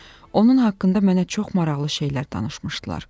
Onun haqqında mənə çox maraqlı şeylər danışmışdılar.